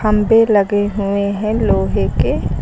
खंभे लगे हुए हैं लोहे के।